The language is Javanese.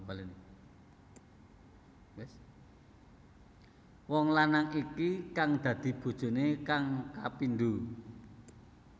Wong lanang iki kang dadi bojoné kang kapindho